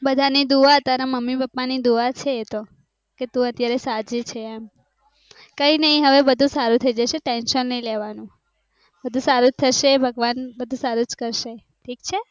બધાની દુવા તારા મમ્મી પપ્પા ની દુવા છે એ તો કે તું અત્યારે સજી છો એમ કાય નાય હવે બધું સારું થય જશે tension નાય લેવાનું બધું સૃજ થશે ભગવાન બધું સૃજ કર્હે